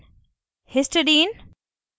* cysteine